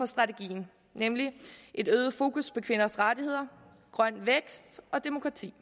strategien nemlig det øgede fokus på kvinders rettigheder grøn vækst og demokrati